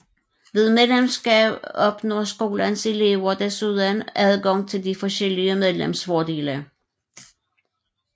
Ved medlemskab opnår skolens elever desuden adgang til de forskellige medlemsfordele